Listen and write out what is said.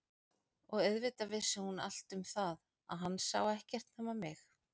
Og auðvitað vissi hún allt um það að hann sá ekkert nema mig.